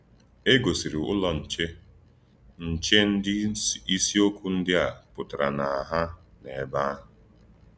È gòsìrì Úlọ̀ Nchè Nchè ndí ísìọ̀kwú ndí à pụtara na hà n’èbé àhụ̀.